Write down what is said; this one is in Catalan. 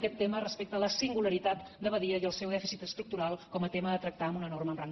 aquest tema respecte a la singularitat de badia i al seu dèficit estructural com a tema a tractar amb una norma amb rang de llei